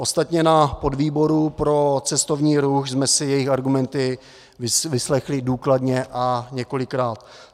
Ostatně na podvýboru pro cestovní ruch jsme si jejich argumenty vyslechli důkladně a několikrát.